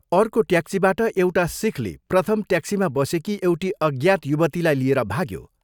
अर्को ट्याक्सीबाट एउटा सिखले प्रथम ट्याक्सीमा बसेकी एउटी अज्ञात युवतीलाई लिएर भाग्यो।